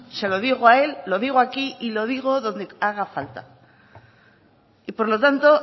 se lo digo a él lo digo aquí y lo digo donde haga falta y por lo tanto